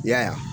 I y'a ye